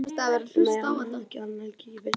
Nei, ekki hann Helgi.